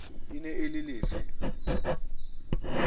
e ne e le lefe